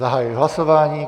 Zahajuji hlasování.